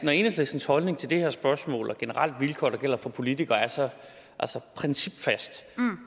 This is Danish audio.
når enhedslistens holdning til det her spørgsmål og generelle vilkår der gælder for politikere er så principfast